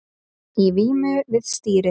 Í vímu við stýrið